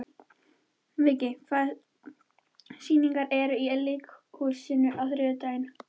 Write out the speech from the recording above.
Viggi, hvaða sýningar eru í leikhúsinu á þriðjudaginn?